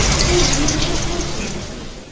o dünyada hər şeyi başa düşür.